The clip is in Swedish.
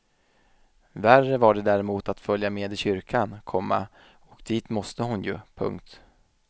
Värre var det däremot att följa med i kyrkan, komma och dit måste hon ju. punkt